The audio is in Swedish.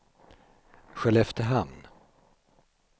Skelleftehamn